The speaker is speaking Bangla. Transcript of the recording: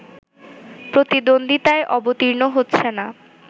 প্রতিদ্বন্দ্বিতায় অবতীর্ণ হচ্ছে না